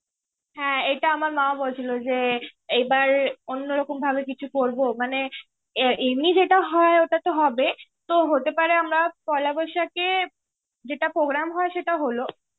হ্যাঁ, এটা আমার মাও বলছিলো যে এবার অন্যরকম ভাবে কিছু করবো. মানে এ এমনই যেটা হয়, ওটাতো হবেই, তো হতে পারে আমরা পয়লা বৈশাখে যেটা programme হয় সেটা হলো.